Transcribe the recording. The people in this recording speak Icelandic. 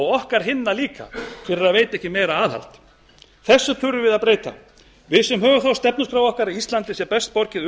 okkar hinna líka fyrir að veita ekki meira aðhald þessu þurfum við að breyta við sem höfum það á stefnuskrá okkar að íslandi sé best borgið